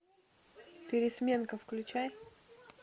пересменка включай